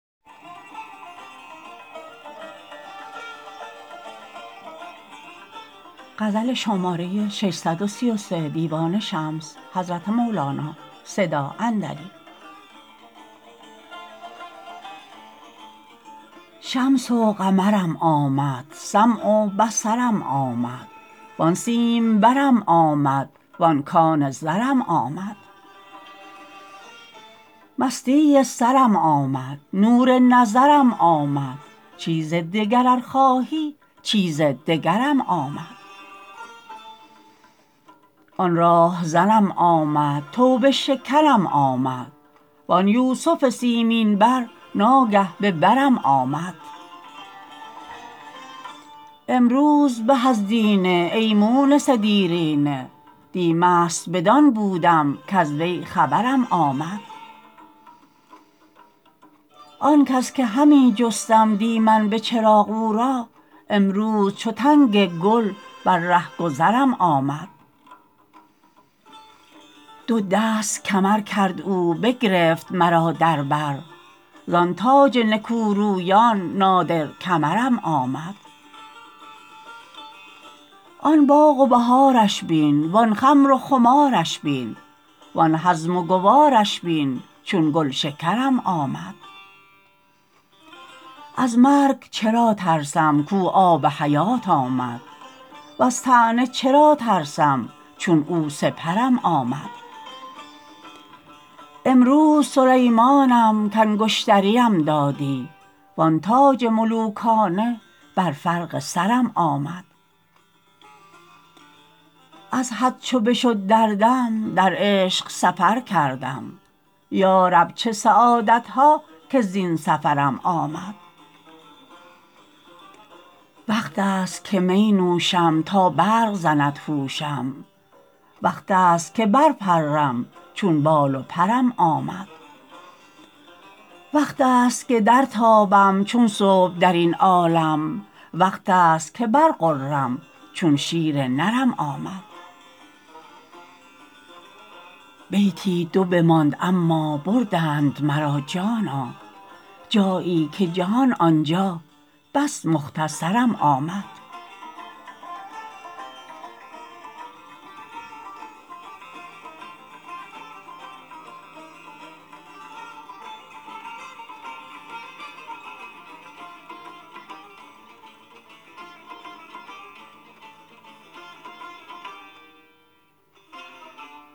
شمس و قمرم آمد سمع و بصرم آمد وان سیمبرم آمد وان کان زرم آمد مستی سرم آمد نور نظرم آمد چیز دگر ار خواهی چیز دگرم آمد آن راه زنم آمد توبه شکنم آمد وان یوسف سیمین بر ناگه به برم آمد امروز به از دینه ای مونس دیرینه دی مست بدان بودم کز وی خبرم آمد آن کس که همی جستم دی من به چراغ او را امروز چو تنگ گل بر ره گذرم آمد دو دست کمر کرد او بگرفت مرا در بر زان تاج نکورویان نادر کمرم آمد آن باغ و بهارش بین وان خمر و خمارش بین وان هضم و گوارش بین چون گلشکرم آمد از مرگ چرا ترسم کو آب حیات آمد وز طعنه چرا ترسم چون او سپرم آمد امروز سلیمانم کانگشتریم دادی وان تاج ملوکانه بر فرق سرم آمد از حد چو بشد دردم در عشق سفر کردم یا رب چه سعادت ها که زین سفرم آمد وقتست که می نوشم تا برق زند هوشم وقتست که برپرم چون بال و پرم آمد وقتست که درتابم چون صبح در این عالم وقتست که برغرم چون شیر نرم آمد بیتی دو بماند اما بردند مرا جانا جایی که جهان آن جا بس مختصرم آمد